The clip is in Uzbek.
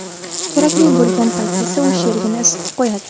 Kerakli bo‘lgan paytda esa u sherigini isitib qo‘yadi.